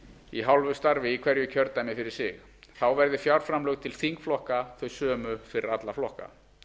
í hálfu starfi í hverju kjördæmi fyrir sig þá verði fjárframlög til þingflokka þau sömu fyrir alla flokka